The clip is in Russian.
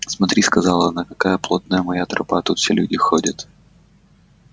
смотри сказала она какая плотная моя тропа тут все люди ходят